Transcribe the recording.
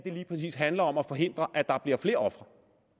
lige præcis handler om at forhindre at der bliver flere ofre